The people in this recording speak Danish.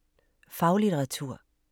Faglitteratur